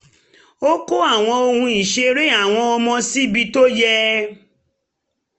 ó kó àwọn ohun ìṣeré àwọn ọmọ síbi tó yẹ